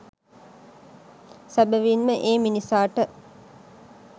සැබැවින් ම ඒ මිනිසාට